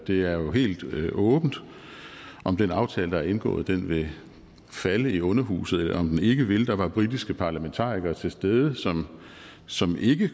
det er jo helt åbent om den aftale der er indgået vil falde i underhuset eller om den ikke vil der var britiske parlamentarikere til stede som som ikke